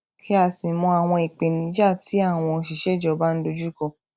kí á sì mọ àwọn ìpèníjà tí àwọn òṣìṣẹ ìjọba ń dojú kọ